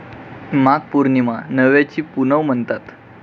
माघ पौर्णिमा 'नव्याची पुनव' म्हणतात.